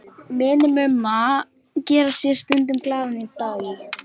Vinir Mumma gera sér stundum glaðan dag í